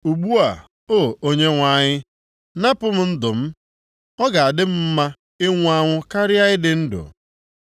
Ugbu a, O, Onyenwe anyị napụ m ndụ m. Ọ ga-adị m mma ịnwụ anwụ karịa ịdị ndụ.”